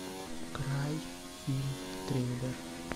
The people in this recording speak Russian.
край фильм триллер